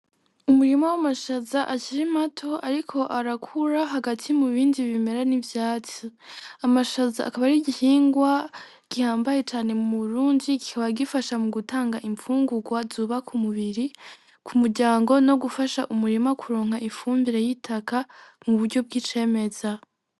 Umurima wamashaza akiri mato ariko arakura hagati mubindi bimera n'ivyatsi. Amashaza akaba ar'igihingwa gihambaye cane muburundi kikaba gifasha mugutanga imfungugwa zubaka umubiri kumuryango nogufasha umurima kuronka ifumbire y'itaka muburyo bw'icemeza.